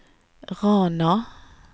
Rana